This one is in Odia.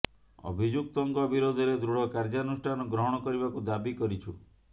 ଅଭିଯୁକ୍ତଙ୍କ ବିରୋଧରେ ଦୃଢ଼ କାର୍ଯ୍ୟାନୁଷ୍ଠାନ ଗ୍ରହଣ କରିବାକୁ ଦାବି କରିଛୁ